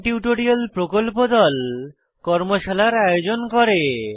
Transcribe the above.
spoken tutorial প্রকল্প দল কর্মশালার আয়োজন করে